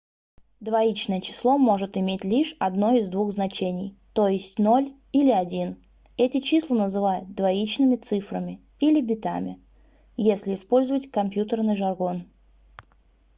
двоичное число может иметь лишь одно из двух значений то есть 0 или 1 эти числа называют двоичными цифрами - или битами если использовать компьютерный жаргон